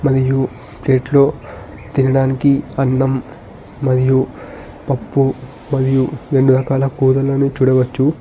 మరియు ప్లేట్లో తినడానికి అన్నం మరియు పప్పు మరియు రెండు రకాల కూరలు చూడవచ్చు.